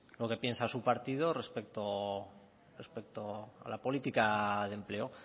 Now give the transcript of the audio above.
lo que piensa su partido respecto a la política de empleo